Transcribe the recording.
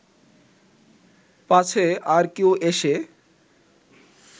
পাছে আর কেউ এসে